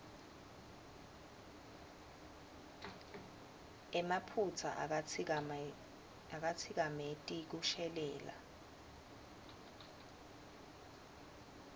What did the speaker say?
emaphutsa akatsikameti kushelela